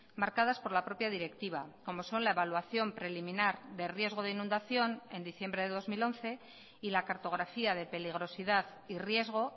marcadas por la propia directiva como son la evaluación preliminar de riesgo de inundación en diciembre de dos mil once y la cartografía de peligrosidad y riesgo